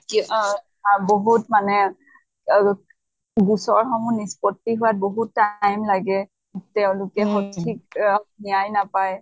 কে আহ বহুত মানে গোচৰ সমূহ নিস্পত্তি হোৱাত বহুত time লাগে, তেওঁলোকে উচিত অহ ন্য়ায় নাপায়।